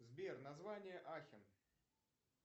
сбер название ахен